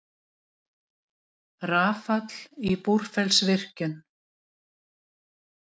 Rafall í Búrfellsvirkjun.